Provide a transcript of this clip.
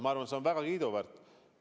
Ma arvan, et see on väga kiiduväärt.